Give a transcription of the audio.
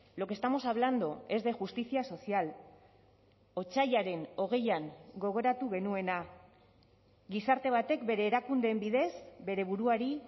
lo que estamos hablando es de justicia social otsailaren hogeian gogoratu genuena gizarte batek bere erakundeen bidez bere buruari